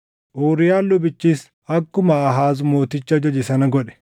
Uuriyaan lubichis akkuma Aahaaz mootichi ajaje sana godhe.